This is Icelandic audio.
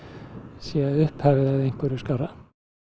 sé upphafið að einhverju skárra